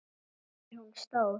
Er hún stór?